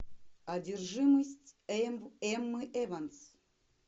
одержимость эммы эванс